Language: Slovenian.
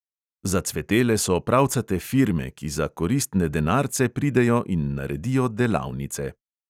Zacvetele so pravcate firme, ki za koristne denarce pridejo in naredijo "delavnice".